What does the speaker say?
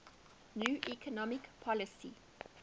new economic policy